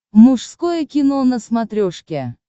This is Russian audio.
мужское кино на смотрешке